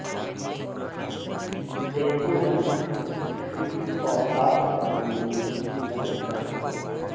tempo runs speed और ताकत बनाने में मदद करता है